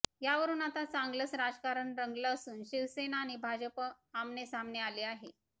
यावरून आता चांगलंच राजकारण रंगलं असून शिवसेना आणि भाजप आमनेसामने आली आहे